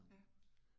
Ja